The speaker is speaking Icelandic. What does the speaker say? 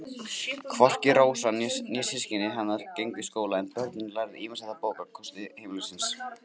Hvorki Rósa né systkini hennar gengu í skóla en börnin lærðu ýmislegt af bókakosti heimilisins.